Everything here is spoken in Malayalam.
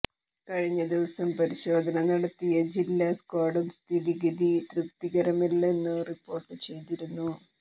കഴിഞ്ഞദിവസം പരിശോധന നടത്തിയ ജില്ലാ സ്ക്വാഡും സ്ഥിതിഗതി തൃപ്തികരമല്ലെന്നു റിപ്പോര്ട്ട് ചെയതിരുന്നു